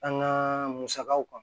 An ka musakaw kan